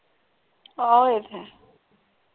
ਆਹੋ ਇਹ ਤੇ ਹੈ